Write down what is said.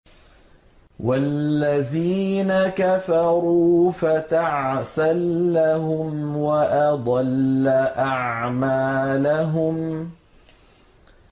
وَالَّذِينَ كَفَرُوا فَتَعْسًا لَّهُمْ وَأَضَلَّ أَعْمَالَهُمْ